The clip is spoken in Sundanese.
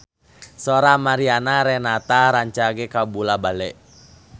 Sora Mariana Renata rancage kabula-bale